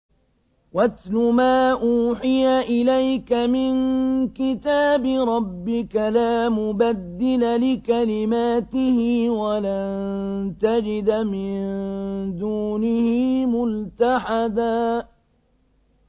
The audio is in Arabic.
وَاتْلُ مَا أُوحِيَ إِلَيْكَ مِن كِتَابِ رَبِّكَ ۖ لَا مُبَدِّلَ لِكَلِمَاتِهِ وَلَن تَجِدَ مِن دُونِهِ مُلْتَحَدًا